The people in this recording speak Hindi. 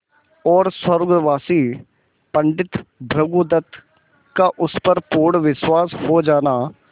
और स्वर्गवासी पंडित भृगुदत्त का उस पर पूर्ण विश्वास हो जाना